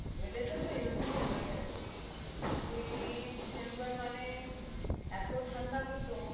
এদেশে তো এরকমই হয়ে গেছে সে এই december মানে এতো ঠাণ্ডা হতো